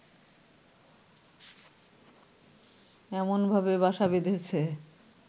এমনভাবে বাসা বেঁধেছে